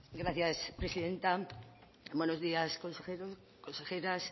gracias presidenta buenos días consejeros consejeras